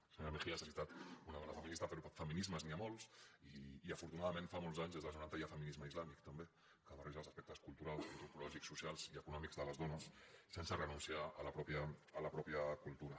la senyora mejías ha citat una dona feminista però feminismes n’hi ha molts i afortunadament fa molts anys des dels noranta hi ha feminisme islàmic també que barreja els aspectes culturals antropològics socials i econòmics de les dones sense renunciar a la pròpia cultura